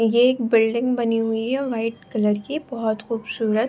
ये एक बिल्डिंग बनी हुई है व्हाइट कलर की बहोत खूबसूरत।